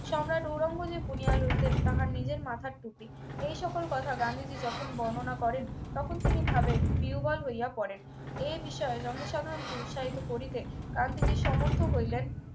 সম্রাট ঔরঙ্গজেব বুনিয়া লইতেন তাহার নিজের মাথার টুপি এই সকল কথা গান্ধীজি যখন বর্ণনা করেন তখন তিনি ভাবের প্রিয়বল হইয়া পড়েন এ বিষয়ে জনসাধারণকে উৎসাহিত করিতে গান্ধীজী সমর্থ্য হইলেন